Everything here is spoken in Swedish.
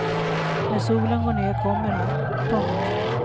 När solen går ner kommer han. punkt